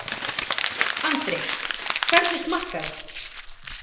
Andri: Hvernig smakkaðist?